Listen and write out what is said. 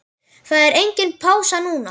Það er engin pása núna.